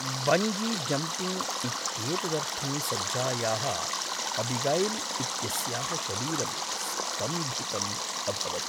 Bungee jumping इत्येतदर्थं सज्जायाः अबिगैल् इत्यस्याः शरीरं स्तम्भितम् अभवत्।